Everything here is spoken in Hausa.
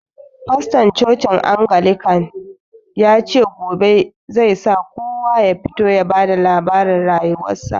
Fastorn cocin angilican yace gobe zai sa kowa ya fito ya ba da labarin rayuwar sa